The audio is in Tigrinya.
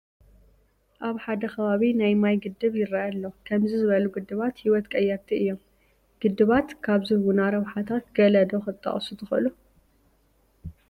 ኣብ ሓደ ከባቢ ናይ ማይ ግድብ ይርአ ኣሎ፡፡ ከምዚ ዝበሉ ግድባት ህይወት ቀየርቲ እዮም፡፡ ግድባት ካብ ዝህቡና ረብሓታት ገለ ዶ ክትጠቕሱ ትኽእሉ?